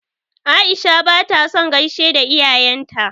Aisha ba ta son gaishe da iyayen ta.